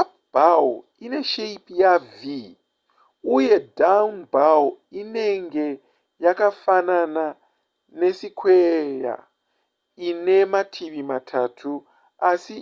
up bow ine shepi yav uye down bow inenge yakafanana nesikweya ine mativi matatu asi